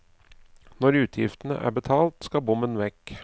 Når utgiftene er betalt, skal bommen vekk.